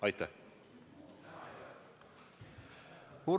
Aitäh!